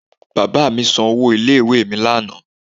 Bàbáa mí san owó ilé ìwé mi ní àná